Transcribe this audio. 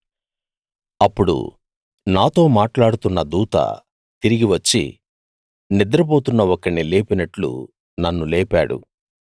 అప్పుడు నాతో మాట్లాడుతున్న దూత తిరిగి వచ్చి నిద్రపోతున్న ఒకణ్ణి లేపినట్లు నన్ను లేపాడు